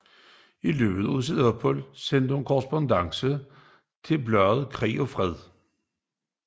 I løbet af opholdet sendte hun korrespondancer til bladet Krig og Fred